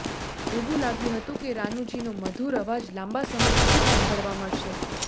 એવું લાગ્યું હતું કે રાનુજીનો મધુર અવાજ લાંબા સમય સુધી સાંભળવા મળશે